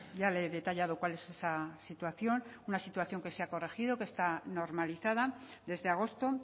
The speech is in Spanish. ya le he detallado cuál es esa situación una situación que se ha corregido que está normalizada desde agosto